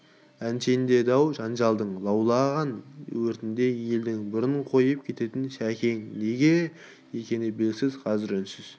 әншейінде дау-жанжалдың лаулаған өртіне елден бұрын қойып кететін шәкең неге екені белгісіз қазір үнсіз